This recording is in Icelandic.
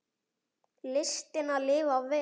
Listina að lifa vel.